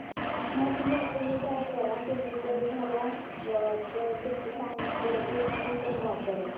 तुम्ही try करा तुम्ही जर झाला तर तुमचं झालं की मग मी पण try करेल.